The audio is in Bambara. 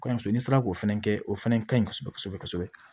Kɔɲɔmuso ni sera k'o fɛnɛ kɛ o fɛnɛ ka ɲi kosɛbɛ kosɛbɛ kosɛbɛ